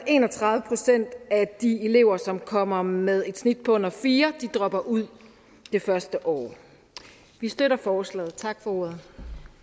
en og tredive procent af de elever som kommer med et snit på under fire dropper ud det første år vi støtter forslaget tak for ordet